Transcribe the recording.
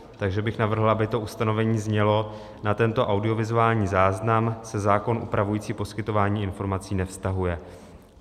Takže bych navrhoval, aby to ustanovení znělo: "Na tento audiovizuální záznam se zákon upravující poskytování informací nevztahuje."